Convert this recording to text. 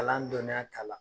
Kalan dɔniya kala